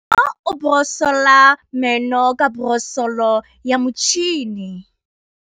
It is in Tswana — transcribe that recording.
Bonolô o borosola meno ka borosolo ya motšhine.